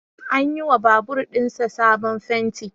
An yi wa babur ɗin sa sabon fenti